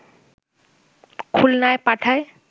খুলনায় পাঠায়